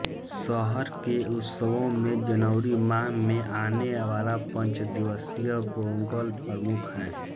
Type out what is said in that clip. शहर के उत्सवों में जनवरी माह में आने वाला पंचदिवसीय पोंगल प्रमुख है